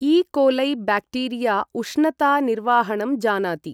इ coli bacteria उष्णता निर्वाहणं जानाति।